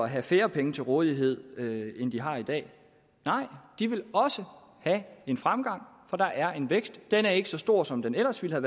have færre penge til rådighed end de har i dag nej de vil også have en fremgang for der er en vækst den er ikke så stor som den ellers ville